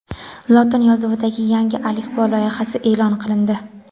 Lotin yozuvidagi yangi alifbo loyihasi e’lon qilindi.